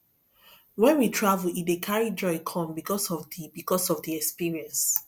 when we travel e dey carry joy come because of di because of di experience